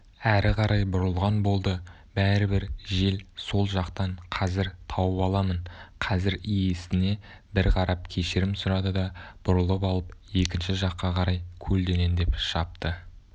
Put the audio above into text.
әрі қарай бұрылған болды бәрібір жел сол жақтан қазір тауып аламын қазір иесіне бір қарап кешірім сұрады да бұрылып алып екінші жаққа қарай көлденеңдеп шапты